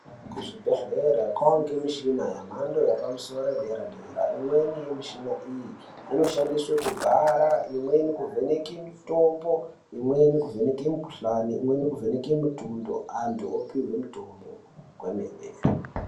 Kuzvibhedhlera kwange mishina yamhando yepamusoro yedera dera. Imweni yemishina iyi inoshandiswe kubhara, imweni mukuvheneke mitombo, imweni kuvheneke mikuhlani, imweni kuvheneke mitundo antu opihwe mitombo kwemene.